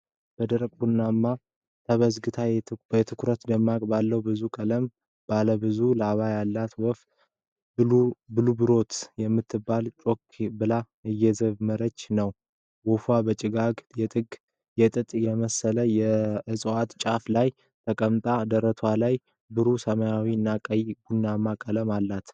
በደረቀ ቡናማ ተበዝግታ የትኩረት ደማቅ፣ ባለ ብዙ ቀለም ላባዎች ያላት ወፍ፣ ብሉብሮት የምትመስል፣ ጮክ ብላ እየዘመረች ነው። ወፏ በጭጋጋማ የጥጥ የመሰለ የእፅዋት ጫፍ ላይ ተቀምጣለች፤ ደረቷ ላይ ብሩህ ሰማያዊ እና ቀይ-ቡናማ ቀለም አላት።